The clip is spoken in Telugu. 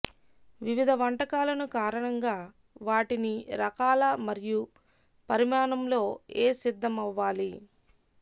వివిధ వంటకాలను కారణంగా వాటిని రకాల మరియు పరిమాణంలో ఏ సిద్ధమవ్వాలి